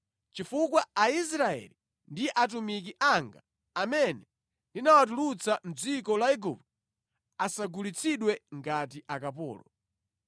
Chifukwa Aisraeli ndi atumiki anga amene ndinawatulutsa mʼdziko la Igupto, asagulitsidwe ngati akapolo.